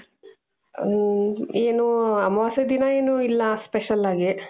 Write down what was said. ಹ್ಮ್ ಏನೂ ಅಮಾವಾಸ್ಯೆ ದಿನ ಏನೂ ಇಲ್ಲಾ ಸ್ಪೆಷಲ್ ಆಗಿ.